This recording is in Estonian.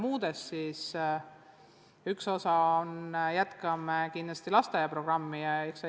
Osa sellest jääb kindlasti lasteaia programmi jaoks.